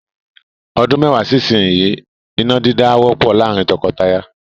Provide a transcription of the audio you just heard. Ọdún mẹ́wàá sí ìsinyìí, iná dídá á wọ́pọ̀ láàrín tọkọtaya.